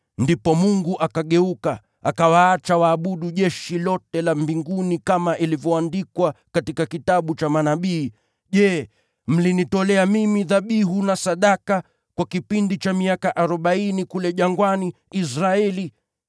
Ndipo Mungu akageuka, akawaacha waabudu jeshi lote la mbinguni, kama ilivyoandikwa katika Kitabu cha Manabii: “ ‘Je, mliniletea dhabihu na sadaka kwa miaka arobaini kule jangwani, ee nyumba ya Israeli?